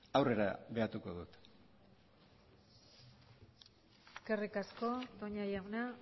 aurrera beatuko dut eskerrik asko toña jauna